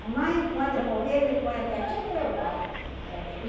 Mamãe, quando eu morrer, me ponha pertinho do meu pai. É.